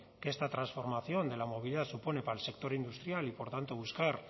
que esta transformación de la movilidad supone para el sector industrial y por tanto buscar